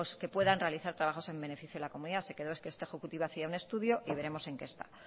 que puedan realizar trabajos en beneficio de la comunidad se quedó que este ejecutivo hacía un estudio y veremos en qué está